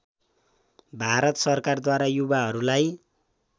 भारत सरकारद्वारा युवाहरूलाई